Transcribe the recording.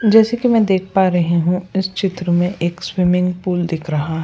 जैसे कि मैं देख पा रही हूं इस चित्र में एक स्विमिंग पूल दिख रहा --